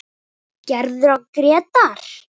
Gerður og Grétar.